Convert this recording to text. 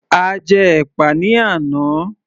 A jẹ́ ẹ̀pà ní àná